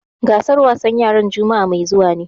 Gasar wasan yaran juma'a mai zuwa ne.